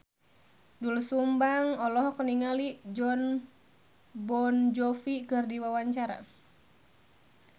Doel Sumbang olohok ningali Jon Bon Jovi keur diwawancara